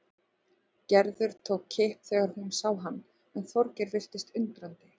Gerður tók kipp þegar hún sá hann en Þorgeir virtist undrandi.